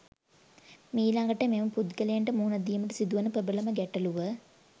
මීළඟට මෙම පුද්ගලයන්ට මුහුණ දීමට සිදුවන ප්‍රබලම ගැටලුව